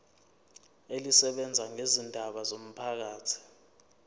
elisebenza ngezindaba zomphakathi